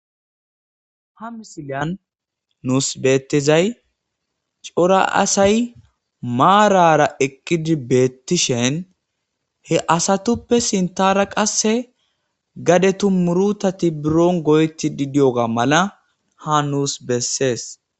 ha misilyan nuus beettezay cora asay maarara eqqidi beettishen he asatuppe sintara qasse gade tummurutati buron goyti didiyoga mala ha nuus bessees